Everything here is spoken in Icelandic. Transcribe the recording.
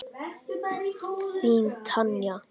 Þín Tanya.